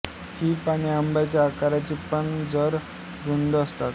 ही पाने आंब्याच्या आकाराची पण जरा रुंद असतात